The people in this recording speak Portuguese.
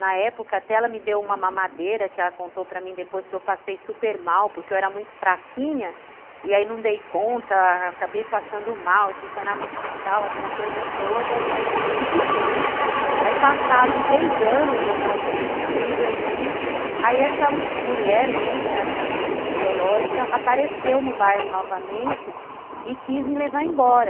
Na época até ela me deu uma mamadeira que ela contou para mim depois que eu passei super mal, porque eu era muito fraquinha e aí não dei conta, acabei passando mal. Fui parar no hospital aquela coisa toda e fiquei. Aí passado três anos, eu já tinha três aninhos, aí essa mulher, né, que era minha mãe biológica, apareceu no bairro novamente e quis me levar embora.